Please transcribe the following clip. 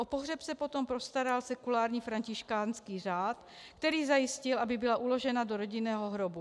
O pohřeb se potom postaral Sekulární františkánský řád, který zajistil, aby byla uložena do rodinného hrobu.